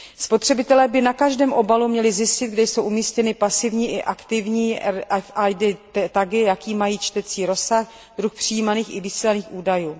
Spotřebitelé by na každém obalu měli zjistit, kde jsou umístěny pasivní i aktivní RFID tagy, jaký mají čtecí rozsah, druh přijímaných i vysílaných údajů.